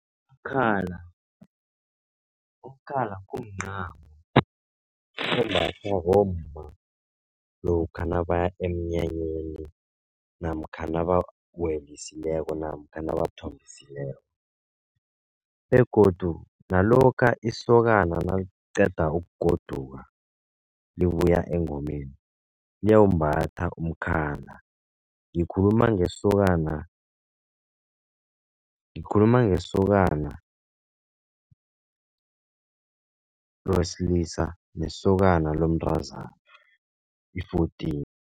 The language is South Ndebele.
Umkhala, umkhala kumncamo ombathwa bomma lokha nabaya emnyanyeni namkha nabawelisileko namkha nabathombisileko. Begodu nalokha isokana naliqeda ukugoduka libuya engomeni liyawumbatha umkhala, ngikhuluma ngesokana, ngikhuluma ngesokana wesilisa nesokana lomntazana i-fourteen.